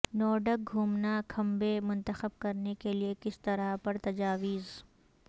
Nordic گھومنا کھمبے منتخب کرنے کے لئے کس طرح پر تجاویز